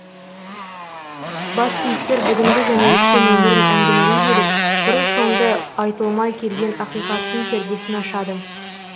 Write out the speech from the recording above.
бас кейіпкер бүгінгі және өткен өмірін әңгімелей келіп бұрын соңды айтылмай келген ақиқаттың пердесін ашады